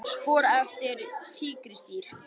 Spor eftir tígrisdýr.